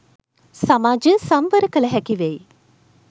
සමාජය සංවර කළ හැකිවෙයි.